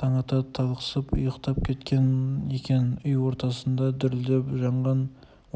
таң ата талықсып ұйықтап кеткен екен үй ортасында дүрілдеп жанған